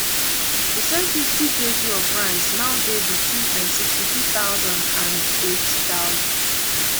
di same fiftykg of rice now dey between nsixty-two thousand and neighty thousand